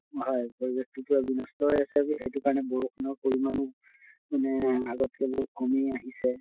হয় পৰিবেশ টো বিনষ্ট হৈ আছেএইটো কাৰণে বৰষুণৰ পৰিমানো মানে আগত্কৈ বহুত কমি আহিছে।